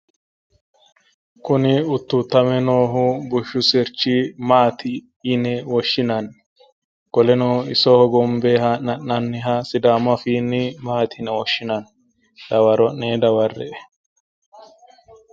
Kuni uttuuttame noohu bushshu sirchi maati yine woshshinanni? Qoleno iso hogombe haa'me ha'nanniha sidaamu afiinni maati yine woshshinanni? Dawaro'ne dawarre"e.